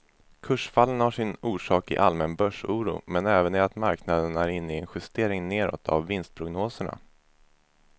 Kursfallen har sin orsak i allmän börsoro men även i att marknaden är inne i en justering nedåt av vinstprognoserna.